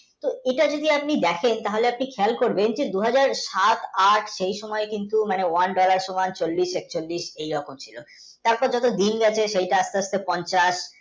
এটা যদি আপনি দেখেন তাহলে আপনি দেখেন এই যে দুই হাজার সাত আট সেই সময় কিন্তু one, dollar সমান চল্লিশ একচল্লিশ এই রকম ছিলো. তার পড়ে দিন আসে আস্তে আস্তে পঞ্চাশ